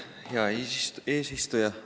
Hea eesistuja!